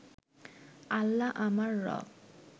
আল্লাহ আমার রব